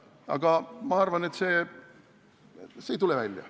Aga ma arvan, et see ei tule välja.